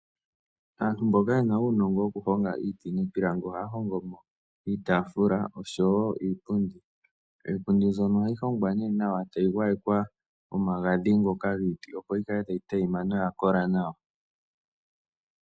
Aantu mboka yena uunongo woku honga iiti niipilangi ohaya hongomo iitaafula oshowo iipundi. Iipundi ohayi hongwa nee nawa tayi gwayekwa omagadhi ngoka giiti opo yilale tayi adhima noyakola nawa .